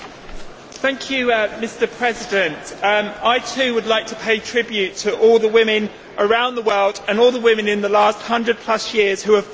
Mr President, I, too, would like to pay tribute to all the women around the world and all the women in the last 100 plus years who have fought for equality.